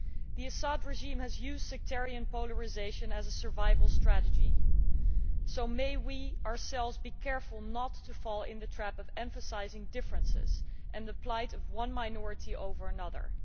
The Assad regime has used sectarian polarisation as a survival strategy, so may we ourselves be careful not to fall into the trap of emphasising differences in the plight of one minority over another.